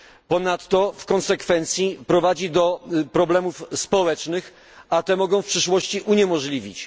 Ponadto w konsekwencji prowadzi do problemów społecznych, a te mogą w przyszłości uniemożliwić.